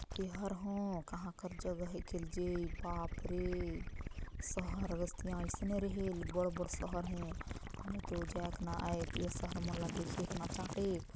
एहर हो काहा कर जगह है खेलजे बापरे शहर बस्तियाँ ऐसने रहेल बड़-बड़ शहर है हमे तो जाएक न आएक ये शहर मोला देखेक न चाटेक--